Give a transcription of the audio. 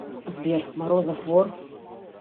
сбер морозов вор